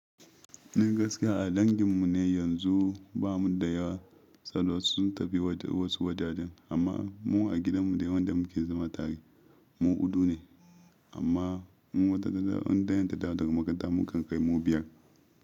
Ni gaskiya a danginmu ne yanzu bamu da yawa, tsallawarsu sun tafi wasu wajajen amma mu a gidanmu dai wanda muke zama tare mu hudu ne amma in wata ta dawo in dayan ta dawo daga makaranta mukan kai mu biyar.